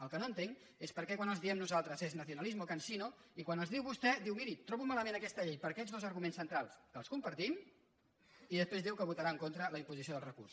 el que no entenc és per què quan els diem nosaltres és nacionalismo cansino i quan els diu vostè diu miri trobo malament aquesta llei per aquests dos arguments centrals que els compartim i després diu que votarà en contra de la imposició del recurs